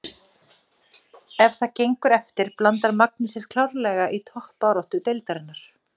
Ef það gengur eftir blandar Magni sér klárlega í toppbaráttu deildarinnar!